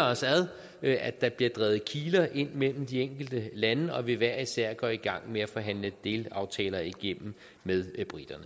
os ad at der bliver drevet kiler ind mellem de enkelte lande og vi hver især går i gang med at forhandle delaftaler igennem med briterne